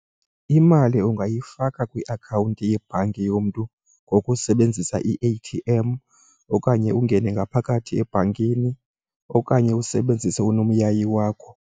Imali ungayifaka kwiakhawunti yebhanki yomntu ngokusebenzisa i-A_T_M okanye ungene ngaphakathi ebhankini okanye usebenzise unomyayi wakho.